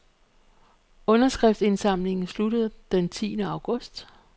Underskriftsindsamlingen slutter den tiende august.